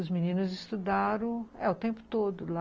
Os meninos estudaram o tempo todo lá.